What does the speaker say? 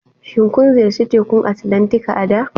Shin kun ziyarci Tekun Atlantika a da?